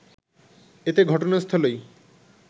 এতে ঘটনাস্থলেই